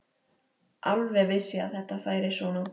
Alveg vissi ég að þetta færi svona!